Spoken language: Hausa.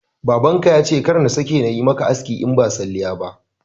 Baban ka yace kar na sake nayi maka aski in ba salliya ba